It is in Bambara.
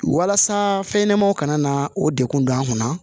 Walasa fɛnɲɛnɛmaw kana o degun don an kunna